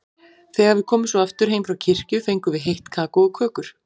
Þegar við komum svo aftur heim frá kirkju fengum við heitt kakó og kökur.